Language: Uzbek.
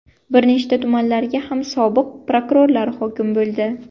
Bir nechta tumanlarga ham sobiq prokurorlar hokim bo‘ldi.